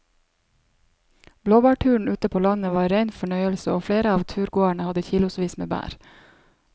Blåbærturen ute på landet var en rein fornøyelse og flere av turgåerene hadde kilosvis med bær.